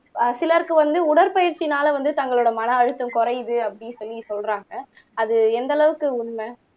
ஆஹ் சிலருக்கு வந்து உடற்பயிற்சினால வந்து தங்களோட மன அழுத்தம் குறையுது அப்படின்னு சொல்லி சொல்றாங்க அது எந்த அளவுக்கு உண்மை